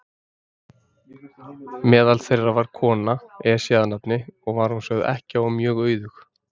Meðal þeirra var kona, Esja að nafni, og var hún sögð ekkja og mjög auðug.